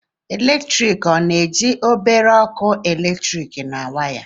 Eletrik ọ na-eji obere ọkụ eletrik na waya?